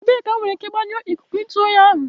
Ebee ka m nwere ike gbanyụọ ikuku ntu oyi ahu